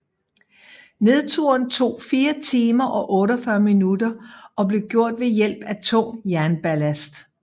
Nedturen tog 4 timer og 48 minutter og blev gjort ved hjælp af tung jernballast